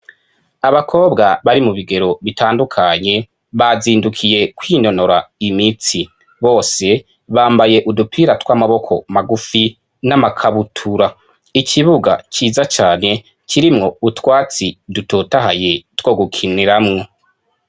Abakobwa bari mu bigero bitandukanye bazindukiye kwinonora imitsi. Bose bambaye udupira tw'amaboko magufi n'amakabutura. Ikibuga ciza cane kirimwo utwatsi dutotahaye two gukiniramwo.